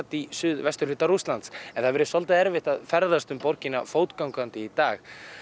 í suð vesturhluta Rússlands ne hefur verið svolítið erfitt að ferðast um borgina fótgangandi í dag